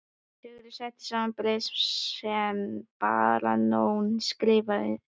Sigurður setti saman bréf sem baróninn skrifaði undir.